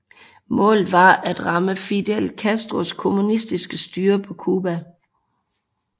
Målet var at ramme Fidel Castros kommunistiske styre på Cuba